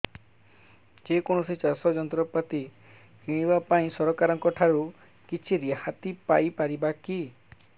ଯେ କୌଣସି ଚାଷ ଯନ୍ତ୍ରପାତି କିଣିବା ପାଇଁ ସରକାରଙ୍କ ଠାରୁ କିଛି ରିହାତି ପାଇ ପାରିବା କି